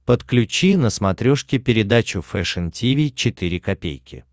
подключи на смотрешке передачу фэшн ти ви четыре ка